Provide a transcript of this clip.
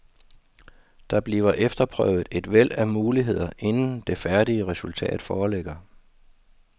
Der bliver efterprøvet et væld af muligheder, inden det færdige resultat foreligger.